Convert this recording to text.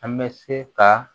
An bɛ se ka